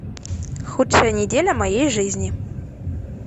худшая неделя моей жизни